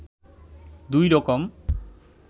দুই রকম